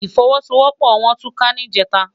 Ifòwòsówòpò wòn túká nijètá